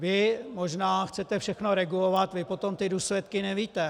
Vy možná chcete všechno regulovat, vy potom ty důsledky nevíte.